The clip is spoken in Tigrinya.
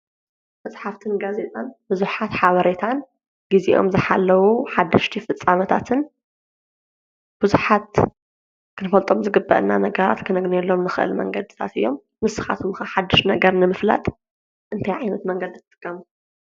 መፅሓፍትን ጋዜጣን ብዘሓት ሓበሬታን ግዚኦም ዝሓለው ሓደሽቲ ፍፃመታትን ብዙሓት ክንፈልጦም ዝግቡኡና ነገራት ክነግንየሎም እንክእል መንገድታት እዮም ንስካትኩም ከ ሓድሽ ነገር ንምፍላጥ እንታይ ዓይነት መንገዲ ትጥቀሙ?